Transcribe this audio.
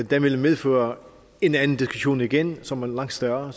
der vil medføre en anden diskussion igen som er langt større